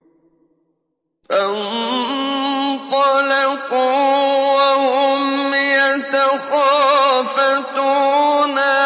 فَانطَلَقُوا وَهُمْ يَتَخَافَتُونَ